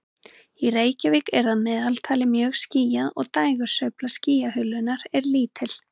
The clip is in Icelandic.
Í Reykjavík er að meðaltali mjög skýjað og dægursveifla skýjahulunnar er lítil.